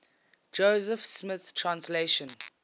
joseph smith translation